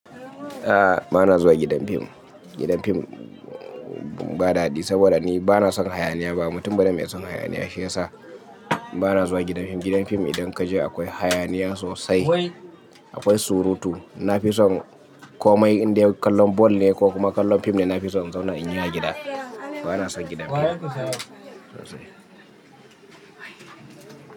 A'a bana zuwa gidan fim. Gidan fim ba dadi saboda ni bana son hayaniya ba. Mutum ba ne mai son hayaniya shiyasa bana zuwa gidan fim. Gidan fim idan kaje akwai hayaniya sosai, akwai surutu. Nafison komai inda kallon ball ne ko kuma kallon fim ne nafison in zauna in yi a gida. Bana son gidan fim sosai.